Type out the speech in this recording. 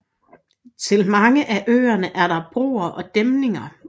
Til mange af øerne er der broer og dæmninger